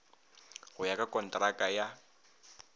go ya ka kontraka ya